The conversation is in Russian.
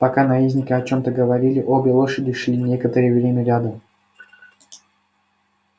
пока наездники о чем-то говорили обе лошади шли некоторое время рядом